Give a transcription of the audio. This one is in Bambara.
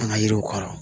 An ka yiriw kɔrɔ